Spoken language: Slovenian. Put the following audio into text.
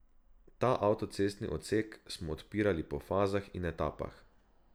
Ta avtocestni odsek smo odpirali po fazah in etapah.